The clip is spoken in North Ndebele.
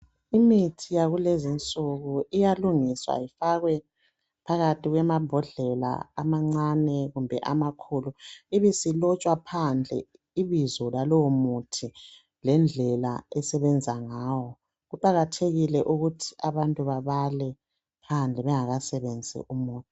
imithi yakulezinsuku iyalungiswa ifakwe phakathi kwamambodlela amancane kumbe amakhululu ibisilotshwa phandle ibizo lalowo muthi lendlela esebenza ngayo kuqakathekile ukuthi abantu bebala phandle bengakasebentisi umuthi